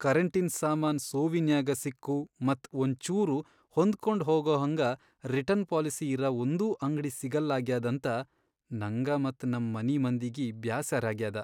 ಕರೆಂಟಿನ್ ಸಾಮಾನ್ ಸೋವಿನ್ಯಾಗ ಸಿಕ್ಕು ಮತ್ ಒಂಚೂರು ಹೊಂದ್ಕೊಂಡ್ ಹೋಗಹಂಗ ರಿಟರ್ನ್ ಪಾಲಸಿ ಇರ ಒಂದೂ ಅಂಗ್ಡಿ ಸಿಗಲ್ಲಾಗ್ಯಾದಂತ ನಂಗ ಮತ್ ನಂ ಮನಿ ಮಂದಿಗಿ ಬ್ಯಾಸರಾಗ್ಯಾದ.